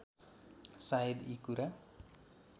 सायद यी कुरा